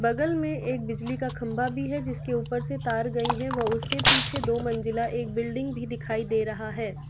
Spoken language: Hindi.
बगल में एक बिजली का खंभा भी है जिसके ऊपर से तार गई है वह उसके पीछे दो मंजिला एक बिल्डिंग भी दिखाई दे रहा है।